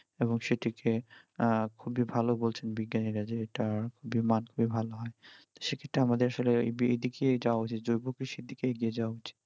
এবং সেটি খেয়ে আহ খুবই ভালো বলছেন বিজ্ঞানীরা যে এটা খুবই মাধ্যমে ভালো হয় তো সে ক্ষেত্রে আমাদের আসলে এদিকে যাওয়া উচিত জৈব কৃষির দিকে এগিয়ে যাওয়া উচিত